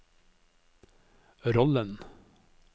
rollen